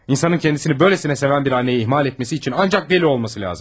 İnsanın kəndisini böyləsinə sevən bir anneyi ihmal etməsi üçün ancaq deli olması lazım.